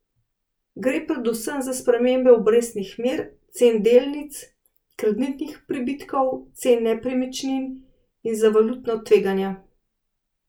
Gre predvsem za spremembe obrestnih mer, cen delnic, kreditnih pribitkov, cen nepremičnin in za valutna tveganja.